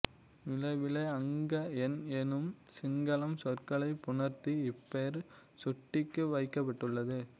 மிலவிலை அங்கஎண் எனும் சிங்களம் சொற்களை புணர்த்தி இப்பெயர் சுட்டிக்கு வைக்க்ப்பட்டுள்து